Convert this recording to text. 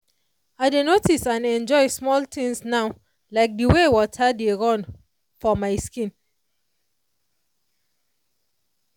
i dey notice and enjoy small things now like the way water dey run for my skin.